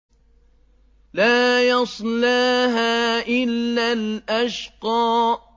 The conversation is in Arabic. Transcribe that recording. لَا يَصْلَاهَا إِلَّا الْأَشْقَى